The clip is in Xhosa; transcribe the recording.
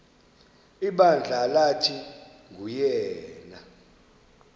ibandla lathi nguyena